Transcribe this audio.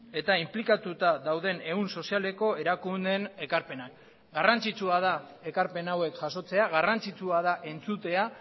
eta inplikatuta dauden ehun sozialeko erakundeen ekarpenak garrantzitsua da ekarpen hauek jasotzea garrantzitsua da entzutea